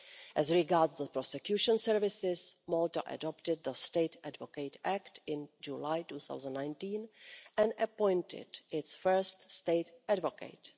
As regards the prosecution services, Malta adopted the State Advocate Act in July 2019 and appointed its first State Advocate.